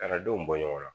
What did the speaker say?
A ka denw bɔ ɲɔgɔn na